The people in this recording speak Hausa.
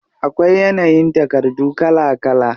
Akwai yanayin takardu kala kala.